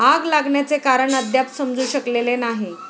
आग लागण्याचे कारण अद्याप समजू शकलेले नाही.